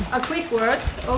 að kveikja á